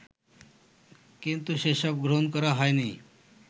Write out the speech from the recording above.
কিন্তু সেসব গ্রহণ করা হয়নি